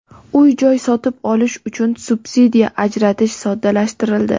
Uy-joy sotib olish uchun subsidiya ajratish soddalashtirildi.